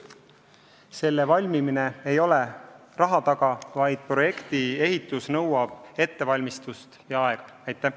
Selle valmimine ei ole raha taga, projektijärgne ehitus nõuab ettevalmistust ja aega.